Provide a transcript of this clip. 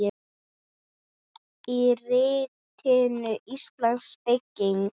Í ritinu Íslensk bygging